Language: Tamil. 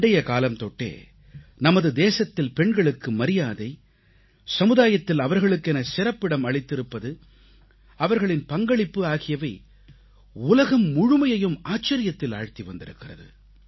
பண்டைகாலம் தொட்டே நம் நாட்டில் பெண்களுக்கு மரியாதை சமுதாயத்தில் அவர்களுக்கென சிறப்பிடம் அளித்திருப்பது அவர்களின் பங்களிப்பு ஆகியவை உலகம் முழுமையையும் ஆச்சரியத்தில் ஆழ்த்தி வந்திருக்கிறது